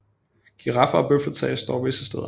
Giraffer og bøfler tages dog visse steder